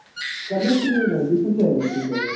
commentary ନାଇଁ VCCI ରେ ଅଛି ସିଏ ଏବେ